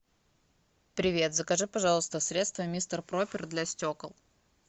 привет закажи пожалуйста средство мистер пропер для стекол